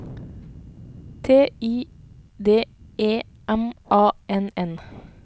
T I D E M A N N